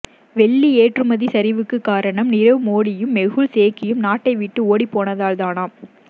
வெள்ளி ஏற்றுமதி சரிவுக்கு காரணம் நீரவ் மோடியும் மெகுல் சோக்சியும் நாட்டை விட்டு ஓடிப்போனதால்தானாம்